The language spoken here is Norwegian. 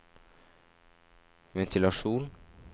ventilasjon